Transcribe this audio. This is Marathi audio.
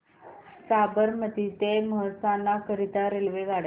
साबरमती ते मेहसाणा करीता रेल्वेगाड्या